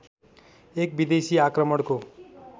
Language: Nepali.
एक विदेशी आक्रमणको